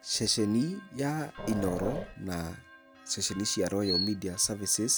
Ceceni ya INOORO na ceceni cia Royal Media Services,